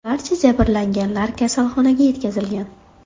Barcha jabrlanganlar kasalxonaga yetkazilgan.